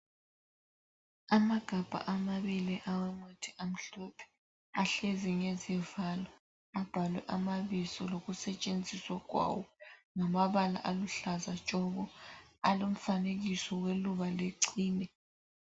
Amagabha amabili awomuthi amhlophe ahlezi ngezivalo abhalwe amabizo lokusetshenziswa kwawo ngamabala aluhlaza tshoko alomfanekiso weluba lechine.